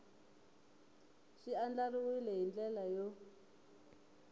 swi andlariwile hi ndlela yo